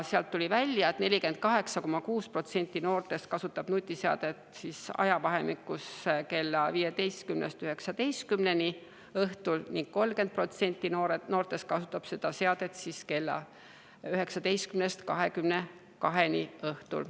Sealt tuli välja, et 48,6% noortest kasutab nutiseadet ajavahemikus kella kolmest päeval kella seitsmeni õhtul ning 30% noortest kasutab seda seadet õhtuti kella seitsmest kümneni.